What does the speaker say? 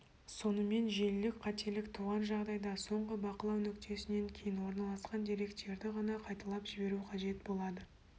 сонымен желілік қателік туған жағдайда соңғы бақылау нүктесінен кейін орналасқан деректерді ғана қайталап жіберу қажет болады